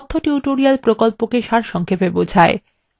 এটি কথ্য tutorial প্রকল্পকে সারসংক্ষেপে বোঝায়